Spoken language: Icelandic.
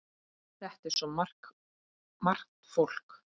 Þetta er svo margt fólk.